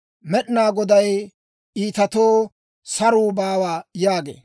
Med'inaa Goday, «Iitatoo saruu baawa» yaagee.